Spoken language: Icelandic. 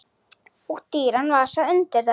Og dýran vasa undir þær.